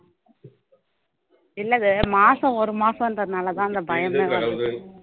இல்லை மாசம் ஒரு மாசம்ன்றதுனால தான் அந்த பயமே வருது